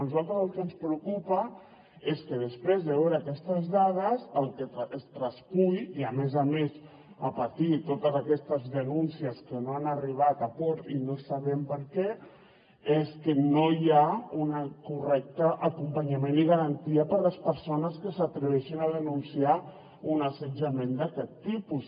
a nosaltres el que ens preocupa és que després de veure aquestes dades el que es traspuï i a més a més a partir de totes aquestes denúncies que no han arribat a port i no sabem per què és que no hi ha un correcte acompanyament i garantia per a les persones que s’atreveixen a denunciar un assetjament d’aquest tipus